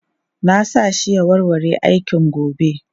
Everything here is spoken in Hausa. Na sa shi ya warware aikin gobe.